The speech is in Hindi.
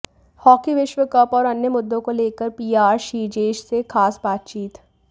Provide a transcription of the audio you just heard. हॉकी विश्व कप और अन्य मुद्दों को लेकर पीआर श्रीजेश से खास बातचीत